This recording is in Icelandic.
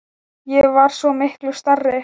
Ég var svo miklu stærri.